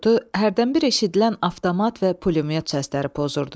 Bu sükutu hərdən bir eşidilən avtomat və pulemyot səsləri pozurdu.